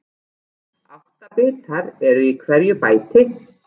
Átta bitar eru í hverju bæti.